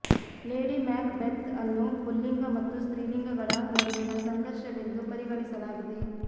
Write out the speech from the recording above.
lady Macbeth ಅನ್ನು ಪುಲ್ಲಿಂಗ ಮತ್ತು ಸ್ತ್ರೀಲಿಂಗಗಳ ನಡುವಿನ ಸಂಘರ್ಷವೆಂದು ಪರಿಗಣಿಸಲಾಗಿದೆ